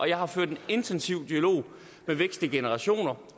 jeg har ført en intensiv dialog med vekslende generationer